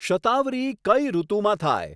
શતાવરી કઈ ઋતુમાં થાય